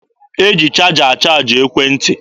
E ji chaja achaaji ekwentị.